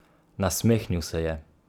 Nasmehnil se je.